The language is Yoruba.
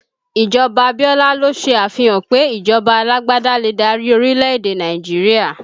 Ikú Abiola ló ṣe àfihàn pé ìjọba alágbádá lè dárí orílẹ̀ èdè Nàìjíríà